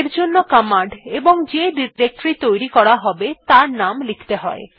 এরজন্য কমান্ড এবং যে ডিরেক্টরী তৈরী করা হবে তার নাম লিখতে হয়